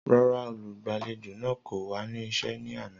Rara, olugbalejo naa ko wa ni iṣẹ ni ana.